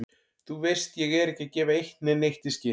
Þú veist ég er ekki að gefa eitt né neitt í skyn.